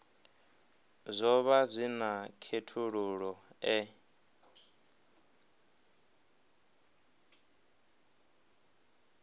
zwo vha zwi na khethululoe